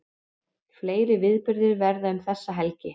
Fleiri viðburðir verða um þessa helgi